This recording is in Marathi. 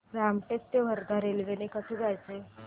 रामटेक ते वर्धा रेल्वे ने कसं जायचं